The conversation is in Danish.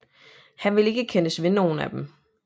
Han ville ikke kendes ved nogen af dem